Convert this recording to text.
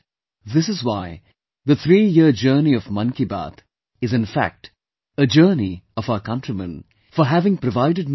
And, this is why the threeyear journey of Mann Ki Baat is in fact a journey of our countrymen, their emotions and their feelings